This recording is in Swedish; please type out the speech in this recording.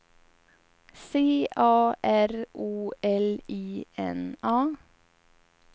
C A R O L I N A